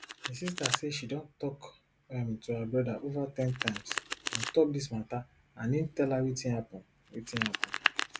di sister say she don tok um to her brother ova ten times on top dis mata and im tell her wetin happun wetin happun